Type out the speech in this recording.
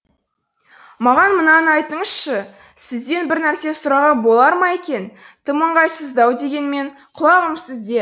маған мынаны айтыңызшы сізден бір нәрсе сұрауға болар ма екен тым ыңғайсыздау дегенмен құлағым сізде